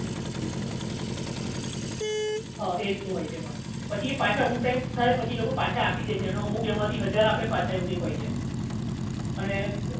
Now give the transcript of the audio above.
હા એ રીતનું હોય છે એમાં હા પાછા અમુક ટાઇમ થાય એટલે એમાં એ લોકો પાછા આપી દેછે એનો અમુક માંથી હજાર આપે એવું કંઈક હોય છે અને